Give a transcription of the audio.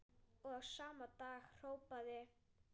Og sama dag hrópaði